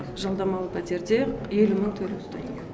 жалдамалы пәтерде елу мың төлеп тұрдық